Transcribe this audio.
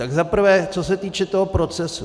Za prvé, co se týče toho procesu.